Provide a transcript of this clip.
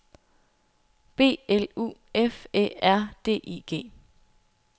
B L U F Æ R D I G